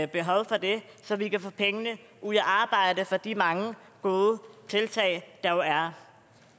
behov for det så vi kan få pengene ud at arbejde for de mange gode tiltag der jo er